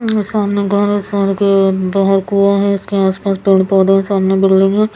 सामने घर हैं शहर बाहर कुआँ हैं उसके आस पास पेड़ पौधे हैं सामने बिल्डिंग हैं ।